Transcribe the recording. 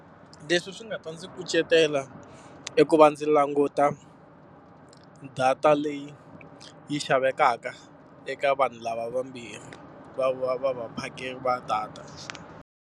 Leswi swi nga ta ndzi kucetela i ku va ndzi languta data leyi yi xavekaka eka vanhu lava vambirhi, va va va vaphakeri va data.